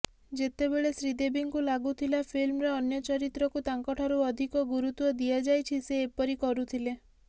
ଯେତେବେଳେ ଶ୍ରୀଦେବୀଙ୍କୁ ଲାଗୁଥିଲା ଫିଲ୍ମରେ ଅନ୍ୟ ଚରିତ୍ରକୁ ତାଙ୍କଠାରୁ ଅଧିକ ଗୁରୁତ୍ୱ ଦିଆଯାଇଛ ସେ ଏପରି କରୁଥିଲେ